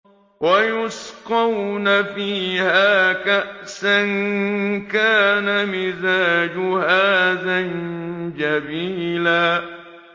وَيُسْقَوْنَ فِيهَا كَأْسًا كَانَ مِزَاجُهَا زَنجَبِيلًا